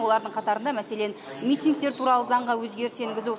олардың қатарында мәселен митингтер туралы заңға өзгеріс енгізу